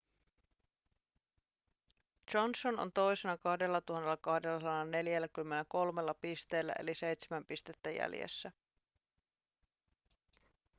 johnson on toisena 2 243 pisteellä eli seitsemän pistettä jäljessä